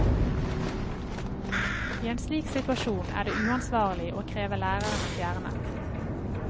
I en slik situasjon er det uansvarlig å kreve lærere fjernet.